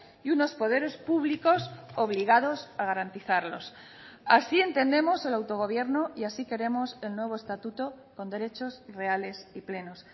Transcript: y unos poderes públicos obligados a garantizarlos así entendemos el autogobierno y así queremos el nuevo estatuto con derechos reales y plenos